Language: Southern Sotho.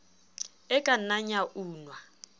e ka nnang ya unwa